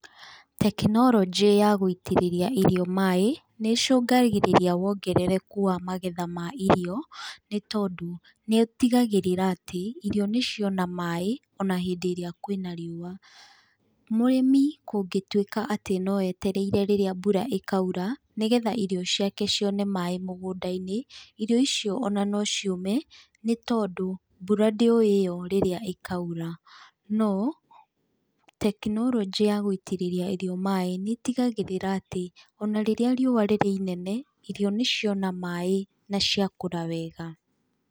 Tekinoronjĩ ya gũitĩrĩria irio maĩ nĩ ĩcongagĩrĩria wongerereku wa magetha ma irio, nĩ tondũ niĩtigagĩrĩra atĩ irio nĩciona maĩ ona hĩndĩ ĩria kwĩna riũa. Mũrĩmi kũngĩtuĩka atĩ, no etereire rĩrĩa mbura ĩkaura nĩgetha irio ciake cione maĩ mũgũnda-inĩ, irio icio ona no ciũme, nĩ tondũ mbura ndĩũiywo rĩrĩa ĩkaura. No tekinoronjĩ ya gũitĩrĩria irio maĩ nĩtigagĩrĩra atĩ, ona rĩrĩa riũa rĩrĩ inene, irio nĩ ciona maĩ na ciakũra wega.